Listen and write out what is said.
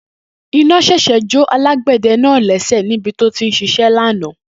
Iná ṣèṣì jó alágbẹ̀dẹ náà lẹ́sẹ̀ nibi tó ti ń ṣiṣẹ́ lánàá